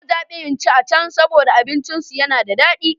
Na zabi in ci a can saboda abincinsu yana da dadi.